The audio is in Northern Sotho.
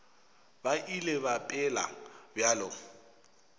ba ile ba phela bjalo